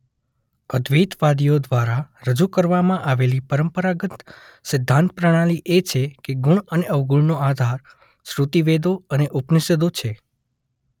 અદ્વૈતવાદીઓ દ્વારા રજૂ કરવામાં આવેલી પરંપરાગત સિદ્ધાંત પ્રણાલી એ છે કે ગુણ અને અવગુણનો આધાર શ્રૃતિ વેદો અને ઉપનિષદો છે.